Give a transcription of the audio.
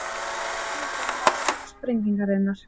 Ekki er vitað um orsök sprengingarinnar